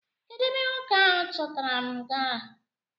Kedụ ebe nwoke ahụ chọtara m gara?